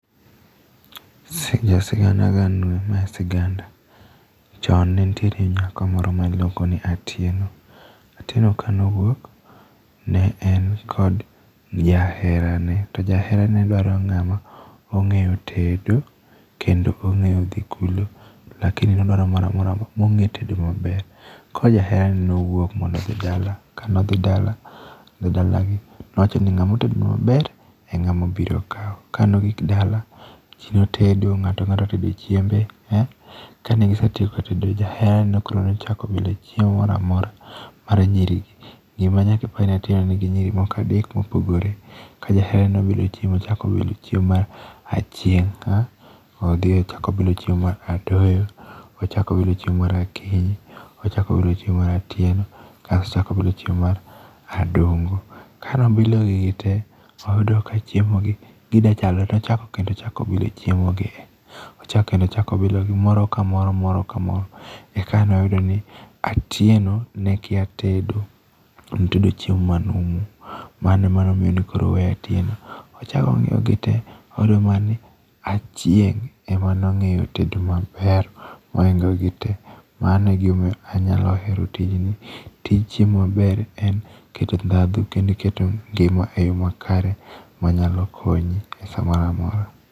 Jo sigana agan nue ma siganda, chon ne nitie nyako moro ne iluongo ni Atieno, Atieno ka ne owuok ne en kod jaherane to jaherane ne dwaro ng'ama ong'eyo tedo kendo mo ng'eyo dhi kulo lakini nodwaro mong'etedo maber. Koro jaheraneno nowuok mondo odhi dala to nowacho ni ng'ama otedo nua maber, eng'ama abiro kawo. Ka ne ogik dala, ji otedo ng'ato ang'ata ne otedo chiembe, kane gisetieko tedo jaheraneno nochako bilo chiemo moro amora mar nyirigi. Gima nyaka ipenj Atieno ni nyiri moko adek mopogore ka jaheraneno no chako bilo chiemo obilo chiemo mar Achieng, odhi ochako obilo chiemo mar Adoyo, ochako obilo chiemo mar Akinyi, kato obilo chiemo mar Atieno kasto obilo mar Adongo. Ka ne obilo gigi te, noyudo ka chiemo gi gidwa chalore koka ne ochako gilo chiemo , obilo moro ka moro moro ka moro eka ne oyudo ni Atieno ne kia tedo. Ne otedo chiemo manumu mano ema omiyo ne koro oweyo Atieno. Ochako ong'iyo gi tee, oyudo mana ni Achieng' ema ne otedo maber mohingo gi te. Mano egima omiyo anyalo hero tijni. Tij chiemo maber en keto ndhadhu kendo ngima eyo makare manyalo konyo e samoro amora.